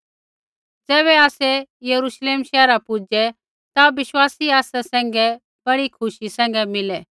ज़ैबै आसै यरूश्लेम शैहरा पुजै ता विश्वासी आसा सैंघै बड़ी खुशी सैंघै मिलै